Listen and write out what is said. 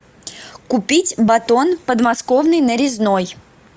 купить батон подмосковный нарезной